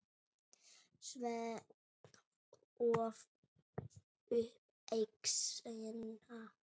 Svenni hóf upp exina.